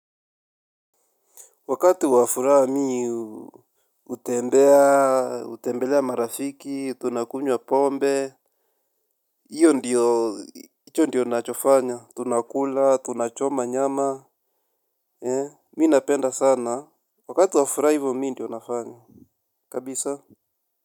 Wakati wafuraha mimi hutembea, hutembelea marafiki, tunakunywa pombe. Iyo ndiyo, hicho ndicho nachofanya. Tunakula, tunachoma nyama. Mi napenda sana. Wakati wafuraha hivo mimi ndio nafanya. Kabisa.